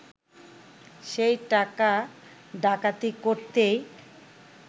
সেই টাকা ডাকাতি করতেই